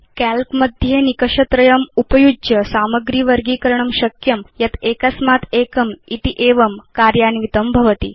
काल्क मध्ये भवान् निकष त्रयम् उपयुज्य सामग्रे वर्गीकरणं कर्तुं शक्नोति यत् एकस्मात् एकमिति अन्वितं भवति